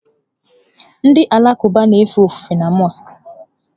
Ndị Alakụba na-efe ofufe na mọsk.